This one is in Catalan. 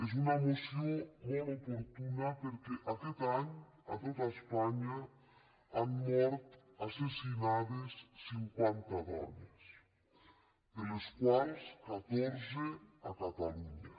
és una moció molt oportuna perquè aquest any a tot espanya han mort assassinades cinquanta dones de les quals catorze a catalunya